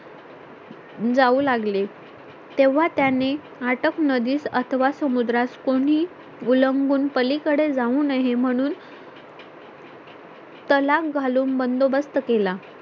जाऊ लागले तेव्हा त्यांनी आटक नदीत अथवा समुद्रास कोणी उल्लंघून पलीकडे जाऊ नये म्हणून तलाख घालून बंदोबस्त केला